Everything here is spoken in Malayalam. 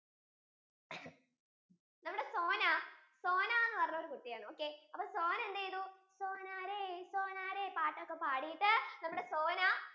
നമ്മുടെ സോന സോന നു പറഞ്ഞ ഒരു കുട്ടിയാണ് okay അപ്പൊ സോന എന്ത് ചെയ്തു സോനേരെ സോനേരെ പാട്ടൊക്കെ പാടിടു നമ്മുടെ സോന